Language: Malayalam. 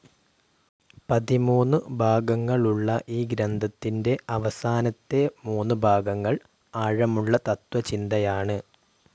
പതിമൂന്നു ഭാഗങ്ങളുള്ള ഈ ഗ്രന്ഥത്തിന്റെ അവസാനത്തെ മൂന്നു ഭാഗങ്ങൾ ആഴമുള്ള തത്ത്വചിന്തയാണ്.